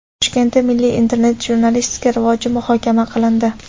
Toshkentda milliy internet-jurnalistika rivoji muhokama qilindi.